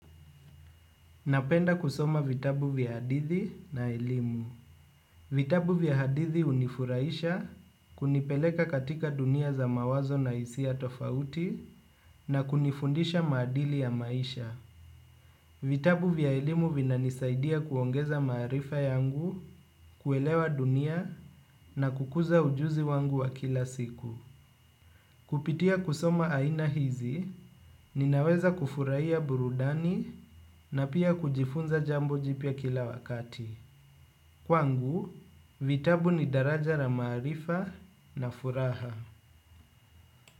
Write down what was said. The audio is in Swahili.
Napenda kusoma vitabu vya hadithi na elimu. Vitabu vya hadithi hunifurahisha kunipeleka katika dunia za mawazo na hisia tofauti na kunifundisha maadili ya maisha. Vitabu vya elimu vinanisaidia kuongeza maarifa yangu, kuelewa dunia na kukuza ujuzi wangu wa kila siku. Kupitia kusoma aina hizi, ninaweza kufurahia burudani na pia kujifunza jambo jipya kila wakati. Kwangu, vitabu ni daraja la maarifa na furaha.